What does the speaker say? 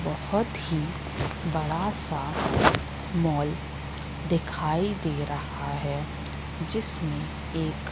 बहोत ही बड़ा सा मॉल दिखाई दे रहा है जिसमें एक--